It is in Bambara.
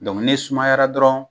ni sumayara dɔrɔn